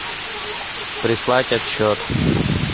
прислать отчет